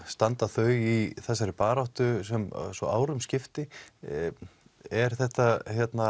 standa þau í þessari baráttu svo árum skipti er þetta